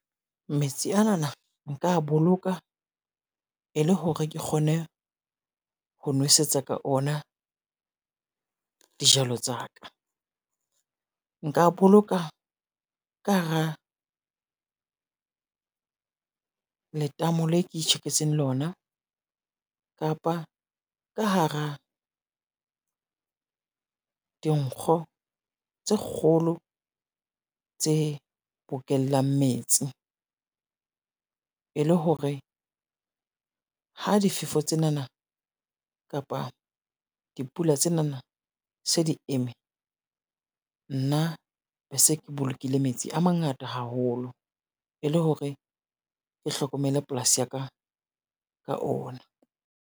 Metsi ana na nka boloka e le hore ke kgone ho nwesetsa ka ona dijalo tsa ka. Nka boloka ka hara, letamo le ke tjheketseng lona kapa ka hara, dinkgo tse kgolo tse bokellang metsi. E le hore ha difefo tsena na kapa dipula tsena na se di eme, nna bese ke bolokile metsi a mangata haholo, e le hore ke hlokomele polasi ya ka ka ona.